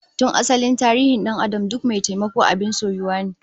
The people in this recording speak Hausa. Tun asalin tarihin dan'adam duk mai taimako abin soyuwa ne